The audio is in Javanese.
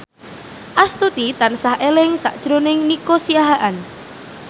Astuti tansah eling sakjroning Nico Siahaan